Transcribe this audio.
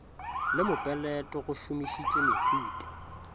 le mopeleto go šomišitšwe mehuta